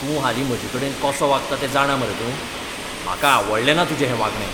तूं हालीं म्हजेकडेन कसो वागता तें जाणा मरे तूं? म्हाका आवडलेंना तुजें हें वागणें.